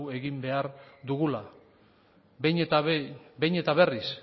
behar dugula behin eta berriz